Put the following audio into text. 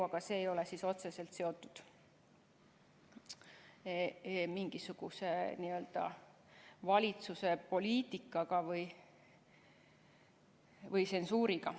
Aga see ei ole otseselt seotud mingisuguse valitsuse poliitikaga või tsensuuriga.